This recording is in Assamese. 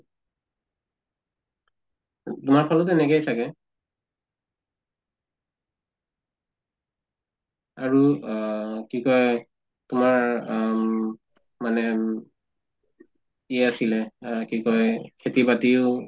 তোমাৰ ফালেও তেনেকাই চাগে আৰু আহ কি কয় তোমাৰ আম মানে উম ই আছিলে আহ কি কয় খেতি বাতিও